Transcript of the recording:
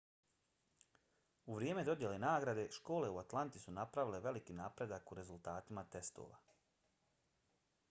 u vrijeme dodjele nagrade škole u atlanti su napravile veliki napredak u rezultatima testova